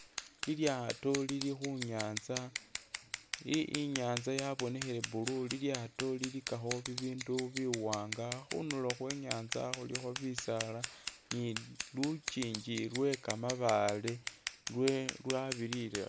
Lilyaato lilikhunyaza i'nyanza yabonekhele blue, lilyaato lilikakho bibindu biwaanga, khundulo khwenyanza khulikho bisaala ni lukingi lwe kamabaale lwe lwabirire